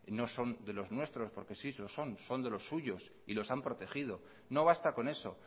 no son de los nuestros porque sí lo son son de los suyos y los han protegido no basta con eso